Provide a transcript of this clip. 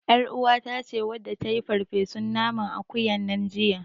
ƳarUwata ce wadda ta yi farfesun nanan akuyan nan jiya.